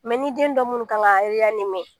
ni den don minnu kan ka